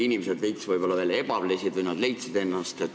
Inimesed veits võib-olla veel ebalesid või otsisid ennast.